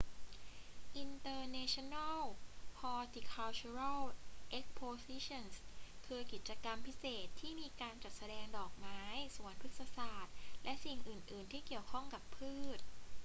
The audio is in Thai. international horticultural expositions คือกิจกรรมพิเศษที่มีการจัดแสดงดอกไม้ สวนพฤกษศาสตร์ และสิ่งอื่น ๆ ที่เกี่ยวข้องกับพืช